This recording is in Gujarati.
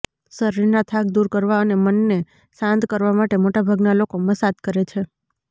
શરીરના થાક દૂર કરવા અને મનને શાંત કરવા માટે મોટાભાગના લોકો મસાજ કરે છે